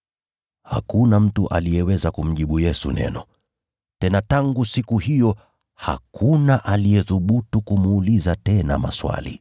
Hakuna mtu aliyeweza kumjibu Yesu neno. Tena tangu siku hiyo hakuna aliyethubutu kumuuliza tena maswali.